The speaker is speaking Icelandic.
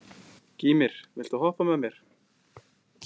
Gýmir, viltu hoppa með mér?